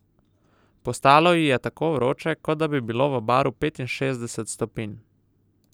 Postalo ji je tako vroče, kot da bi bilo v baru petinšestdeset stopinj.